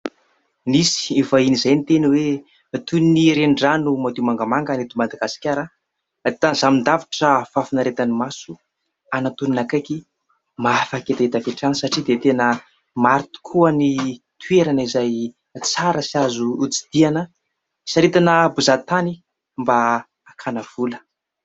Nisy vahiny izay niteny hoe: toy ny renirano madio mangamanga ny eto Madagasikara tazanin-davitra fahafinaretan'ny maso, anatonana akaiky mahafaka hetaheta avy hatrany satria dia tena maro tokoa ny toerana izay tsara sy azo tsidihina, hisaritana mpizaha tany mba hakana vola.